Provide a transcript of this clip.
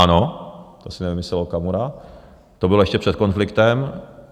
Ano, to si nevymyslel Okamura, to bylo ještě před konfliktem.